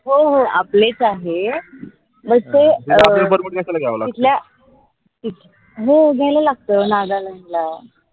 हो हो आपलेच आहे हो जायला लागत नागालँड ला